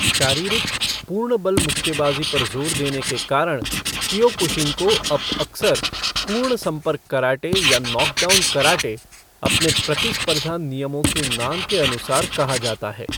शारीरिक, पूर्ण बल मुक्केबाजी पर जोर देने के कारण कीयोकुशिन को अब अक्सर पूर्ण संपर्क कराटे या नॉकडाउन कराटे अपने प्रतिस्पर्धा नियमों के नाम के अनुसार कहा जाता है।